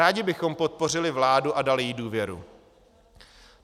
Rádi bychom podpořili vládu a dali jí důvěru.